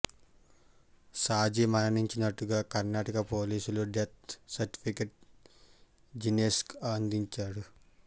సాజి మరణించినట్టుగా కర్ణాటక పోలీసులు death certificate జినేష్కు అందించారు